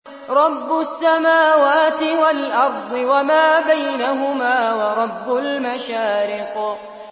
رَّبُّ السَّمَاوَاتِ وَالْأَرْضِ وَمَا بَيْنَهُمَا وَرَبُّ الْمَشَارِقِ